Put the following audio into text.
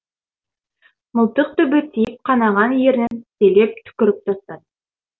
мылтық дүбі тиіп қанаған ернін тістелеп түкіріп тастады